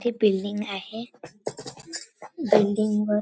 हे बिल्डिंग आहे बिल्डिंग वर--